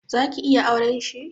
Zaki iya auren shi?